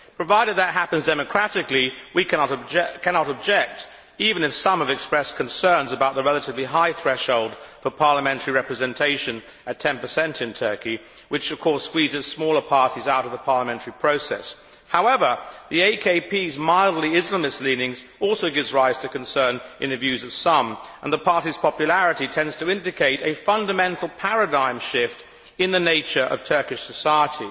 Provided that happens democratically, we cannot object, even if some have expressed concerns about the relatively high threshold for parliamentary representation at 10 in Turkey, which of course squeezes smaller parties out of the parliamentary process. However, the AKP's mildly Islamist leanings also give rise to concern in the views of some, and the party's popularity tends to indicate a fundamental paradigm shift in the nature of Turkish society.